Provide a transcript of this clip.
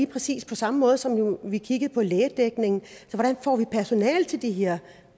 præcis på samme måde som vi kiggede på lægedækning hvordan får vi personale til de her